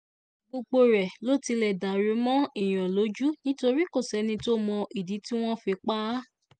gbogbo ẹ̀ ló tilẹ̀ dàrú mọ́ èèyàn lójú torí kò sẹ́ni tó mọ ìdí tí wọ́n fi pa á